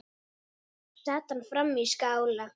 Sat hann frammi í skála.